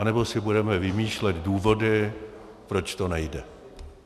Anebo si budeme vymýšlet důvody, proč to nejde.